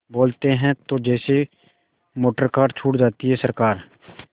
बोलते हैं तो जैसे मोटरकार छूट जाती है सरकार